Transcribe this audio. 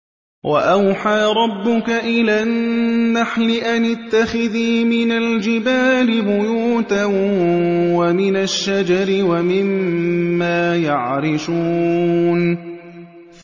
وَأَوْحَىٰ رَبُّكَ إِلَى النَّحْلِ أَنِ اتَّخِذِي مِنَ الْجِبَالِ بُيُوتًا وَمِنَ الشَّجَرِ وَمِمَّا يَعْرِشُونَ